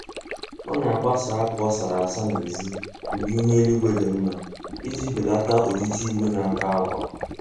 Ọ na-agbasa akwa ọ sara asa n'ezi mgbe ihu eluigwe dị mma iji belata ojiji igwe na-akọ akwa